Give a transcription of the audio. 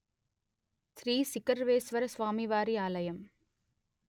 శ్రీ శిఖరేశ్వరస్వామివారి ఆలయం